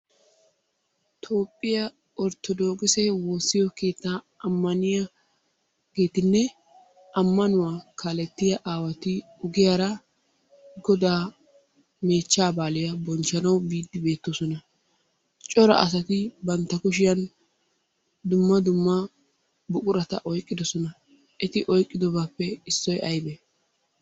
Toophphiya orttodokkisse woossiyo keettaa ammanniyageetinne ammanuwa kaalettiya aawati ogiyaara godaa mechchaa baaliyaa bonchchanawu biidi beettoosona. Cora asati bantta kushiyan dumma dumma buqurata oykkiddosona. Eti oyqqiddobaappe issoy aybee?